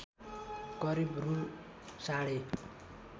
करिब रु साढे